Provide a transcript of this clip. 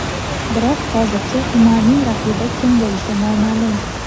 Biroq hozircha Umarning raqibi kim bo‘lishi noma’lum.